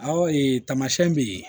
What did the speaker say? Awɔ tamasiɛn be yen